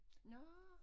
Nårh